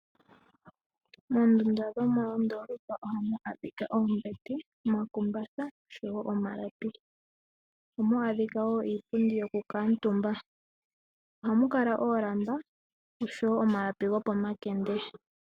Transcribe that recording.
Moondunda dhomondoopa ohamu adhika oombete, omakumbatha oshowo omalapi. Ohamu adhika wo iipundi yokukuutumba. Ohamu kala oolamba noshowo omalapi gopomakende.